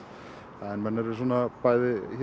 en menn eru bæði